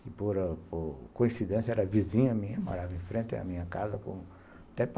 Que, por coincidência, era vizinha minha, morava em frente à minha casa